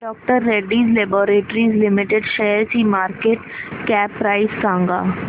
डॉ Reddy's laboratories limited शेअरची market cap price सांगा